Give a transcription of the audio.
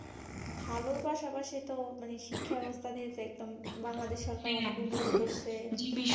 ভালোর পাশাপাশি তো মানে শিক্ষা ব্যবস্থা দিয়েছে একদম বাংলাদেশ